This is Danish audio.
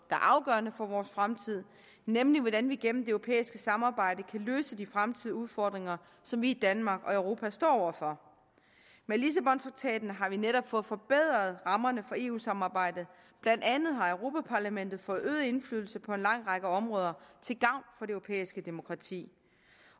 er afgørende for vores fremtid nemlig hvordan vi igennem europæiske samarbejde kan løse de fremtidige udfordringer som vi i danmark og i europa står over for med lissabontraktaten har vi netop fået forbedret rammerne for eu samarbejdet blandt andet har europa parlamentet fået øget indflydelse på en lang række områder til gavn for det europæiske demokrati